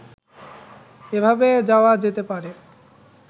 এভাবে যাওয়া যেতে পারে